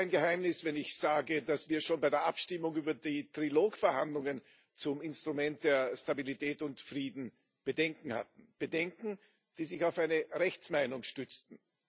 Ich verrate kein Geheimnis, wenn ich sage, dass wir schon bei der Abstimmung über die Trilog Verhandlungen zum Instrument für Stabilität und Frieden Bedenken hatten Bedenken, die sich auf eine Rechtsmeinung stützten.